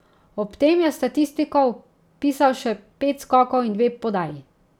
Ob tem je v statistiko vpisal še pet skokov in dve podaji.